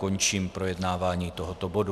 Končím projednávání tohoto bodu.